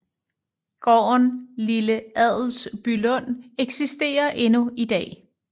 Gården Lille Adelsbylund eksisterer endnu i dag